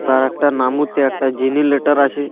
তার একটা নাম ওতে একটা জিনি লেটার আছে।